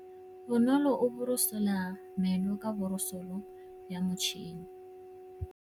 Bonolô o borosola meno ka borosolo ya motšhine.